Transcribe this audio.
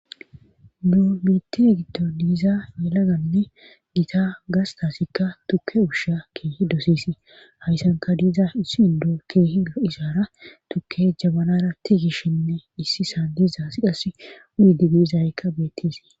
du mitire giddo diiza elaganne gita gastasikka tuke ushiya keehi doseesi hayssanka diiza issi indo keehi isaara tukke jabanara tiigishinne issi saan diizaasi qas unidigiizayykka beetteesi